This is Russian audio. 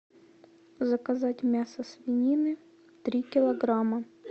заказать мясо свинины три килограмма